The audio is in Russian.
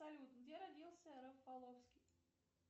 салют где родился рафаловский